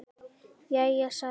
Jæja, sagði biskup með hægð.